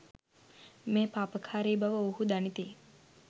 මෙය පාපකාරී බව ඔවුහු දනිති.